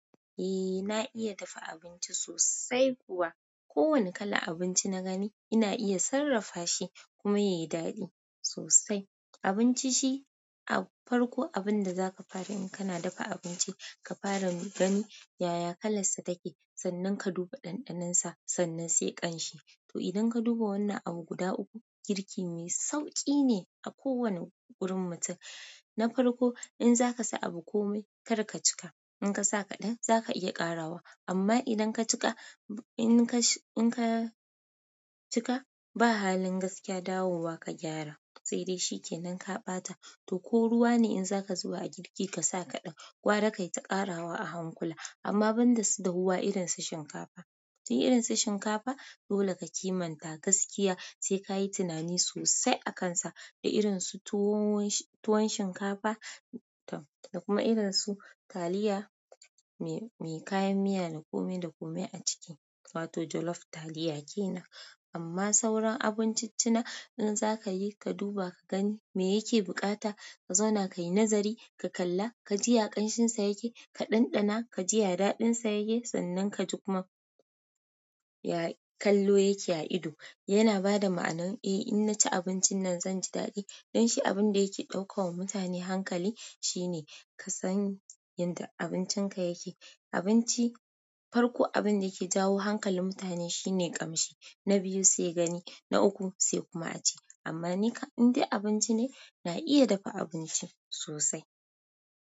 Eh na iya dafa abinci sosai kuwa. Ko wane kalan abinci na gani ina iya sarrafa shi kuma ya yi daɗi sosai. Abinci shi-- a farko abun da za ka fara in ka na dafa abinci, ka fara mu gani yaya kalansa take, sannan ka duba ɗanɗaninsa sannan sai ƙanshi. To idan ka duba wannan abu guda uku girki mai sauƙi ne a ko wani gurin mutum na farko in za ka sa abu komai kar ka cika. In ka sa kaɗan za ka iya ƙarawa amma idan ka cika, in ka, in ka cika ba halin gaskiya dawowa ka gyara sai dai shi ke nan ka ɓata. To ko ruwa ne in za ka zuba a girki ka sa kaɗan, gwara ka yi ta ƙarawa a hankula amma ban da su dawuwa irin su shinkafa. Di irin su shinkafa dole ka kimanta gaskiya sai ka yi tunani sosai a kan sa da irin su tuwo, tuwon shinkafa da kuma irin su taliya mai, mai kayan miya na kome da kome a ciki. Wato jolof taliya ke nan. Amma sauran abinciccina in za ka yi, ka duba ka gani me yake bukata, ka zauna ka yi nazari, ka kalla, ka ji ya ƙanshinsa yake, ka ɗanɗana, ka ji ya daɗinsa yake, sannan ka ji kuma kallo yake a ido. Yana ba da ma'ana eh in na ci abincin nan zan ji daɗi. Don shi abun da yake ɗaukawa mutane hankali shine ka san yanda abincinka yake. Abinci farko abun da yake jawo hankalin mutane shine ƙamshi. Na biyu sai gani, na uku sai kuma a ci. Amma ni indai abinci ne, na iya dafa abinci sosai.